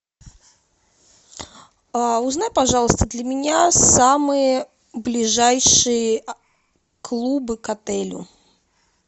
а узнай пожалуйста для меня самые ближайшие клубы к отелю